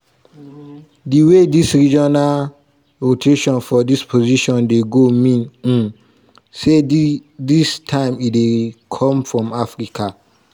di way dis regional rotation for dis position dey go mean um say dis time e dey come from africa.